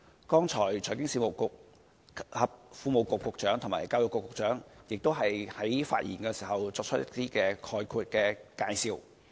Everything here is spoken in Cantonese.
剛才財經事務及庫務局局長和教育局局長在發言時，作出了一些概括的介紹。